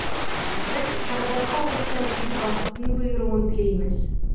біз сағадатқа осы әдеби бақыттың бұйыруын тілейміз